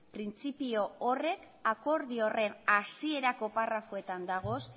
printzipio horrek akordio horren hasierako parrafoetan dagoz